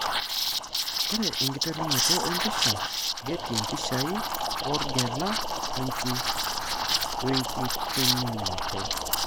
Ore enkiterunoto empisha ,Getty mpishai wo orgela wenkitenikino?